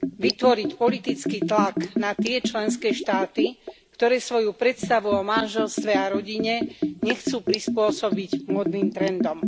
vytvoriť politický tlak na tie členské štáty, ktoré svoju predstavu o manželstve a rodine nechcú prispôsobiť módnym trendom.